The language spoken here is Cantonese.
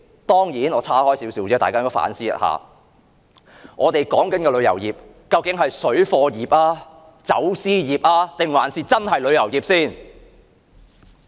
當然，我想大家也反思一下另一問題，我們所說的旅遊業，究竟是水貨業、走私業，還是真正的旅遊業？